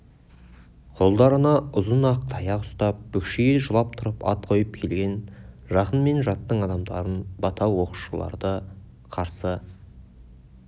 қолдарына ұзын ақ таяқ ұстап бүкшие жылап тұрып ат қойып келген жақын мен жаттың адамдарын бата оқушыларды қарсы